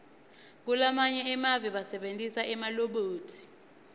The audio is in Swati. kulamanye emave basebentisa emalobhothi